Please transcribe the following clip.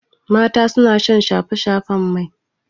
Mata suna son shafe-shafen mai.